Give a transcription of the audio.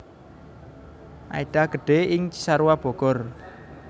Aida gedhé ing Cisarua Bogor